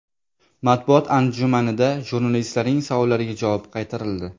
Matbuot anjumanida jurnalistlarning savollariga javob qaytarildi.